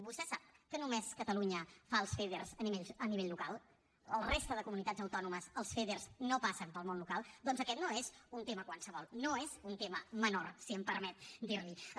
vostè sap que només catalunya fa els feder a nivell local que a la resta de comunitats autònomes els feder no passen pel món local doncs aquest no és un tema qualsevol no és un tema menor si em permet dir li ho